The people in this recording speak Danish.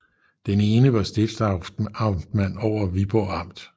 Den ene var stiftsamtmanden over Viborg amt